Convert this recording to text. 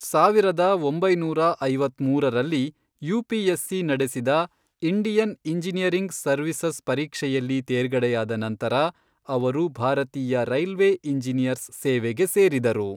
ಸಾವಿರದ ಒಂಬೈನೂರ ಐವತ್ಮೂರರಲ್ಲಿ, ಯುಪಿಎಸ್ಸಿ ನಡೆಸಿದ ಇಂಡಿಯನ್ ಇಂಜಿನಿಯರಿಂಗ್ ಸರ್ವೀಸಸ್ ಪರೀಕ್ಷೆಯಲ್ಲಿ ತೇರ್ಗಡೆಯಾದ ನಂತರ ಅವರು ಭಾರತೀಯ ರೈಲ್ವೇ ಇಂಜಿನಿಯರ್ಸ್ ಸೇವೆಗೆ ಸೇರಿದರು.